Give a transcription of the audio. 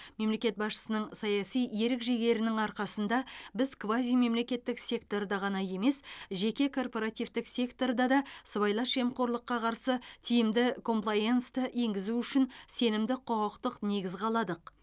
мемлекет басшысының саяси ерік жігерінің арқасында біз квазимемлекеттік секторда ғана емес жеке корпоративтік секторда да сыбайлас жемқорлыққа қарсы тиімді комплаенсті енгізу үшін сенімді құқықтық негіз қаладық